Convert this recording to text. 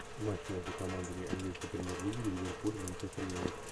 матч между командами английской премьер лиги ливерпуль манчестер юнайтед